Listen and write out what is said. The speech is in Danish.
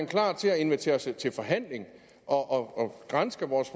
klar til at invitere os til forhandling og granske vores